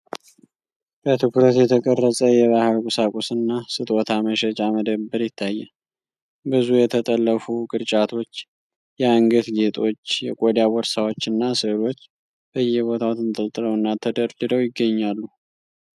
በትኩረት የተቀረጸ የባህል ቁሳቁስና ስጦታ መሸጫ መደብር ይታያል። ብዙ የተጠለፉ ቅርጫቶች፣ የአንገት ጌጦች፣ የቆዳ ቦርሳዎችና ሥዕሎች በየቦታው ተንጠልጥለውና ተደርድረው ይገኛሉ።